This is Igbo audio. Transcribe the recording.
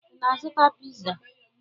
Ị na-azụta piza?